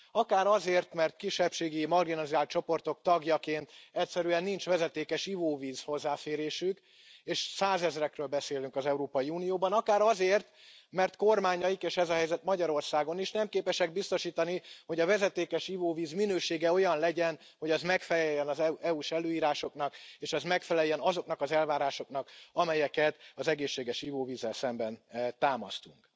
Akár azért, mert kisebbségi, marginalizált csoportok tagjaként egyszerűen nincs vezetékes ivóvíz hozzáférésük, és százezrekről beszélünk az Európai Unióban, akár azért, mert kormányaik, és ez a helyzet Magyarországon is, nem képesek biztosítani, hogy a vezetékes ivóvíz minősége olyan legyen, hogy az megfeleljen az EU s előírásoknak, és az megfeleljen azoknak az elvárásoknak, amelyeket az egészséges ivóvízzel szemben támasztunk.